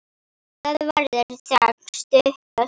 Það verður þögn stutta stund.